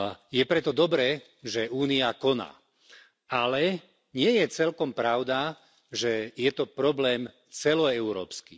Je preto dobré, že Únia koná, ale nie je celkom pravda, že je to problém celoeurópsky.